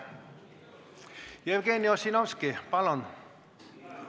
Jevgeni Ossinovski, palun!